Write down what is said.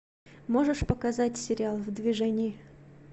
можешь показать сериал в движении